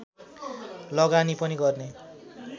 लगानी पनि गर्ने